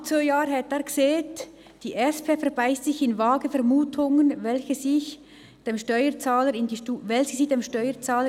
Vor knapp zwei Jahren sagte er: «Die SP verbeisst sich in vage Vermutungen, welche sie dem Steuerzahler in die Schuhe schiebt.